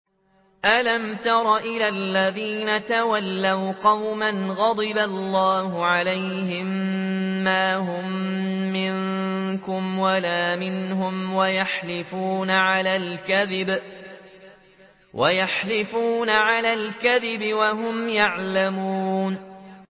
۞ أَلَمْ تَرَ إِلَى الَّذِينَ تَوَلَّوْا قَوْمًا غَضِبَ اللَّهُ عَلَيْهِم مَّا هُم مِّنكُمْ وَلَا مِنْهُمْ وَيَحْلِفُونَ عَلَى الْكَذِبِ وَهُمْ يَعْلَمُونَ